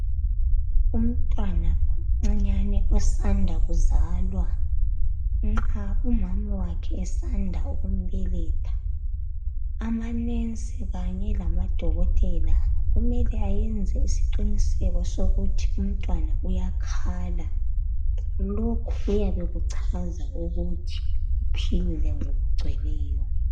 Umntwana omncinyane osanda kuzalwa, nxa umama wakhe esanda ukumbeletha, amanensi kanye lamadokotela kumele ayenze isiqiniseko sokuthi umntwana uyakhala. Lokhu kuyabe kuchaza ukuthi uphilile ngokugcweleyo.